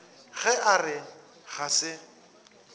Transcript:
ge a re ga se